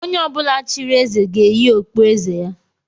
Onye ọbụla chịrị eze ga-eyi okpu eze ya